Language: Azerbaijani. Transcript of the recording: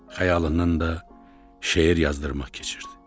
Xəyalından da şeir yazdırmaq keçirdi.